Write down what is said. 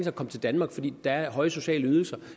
at komme til danmark fordi der er høje sociale ydelser